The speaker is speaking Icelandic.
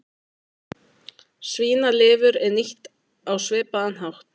Svínalifur er nýtt á svipaðan hátt.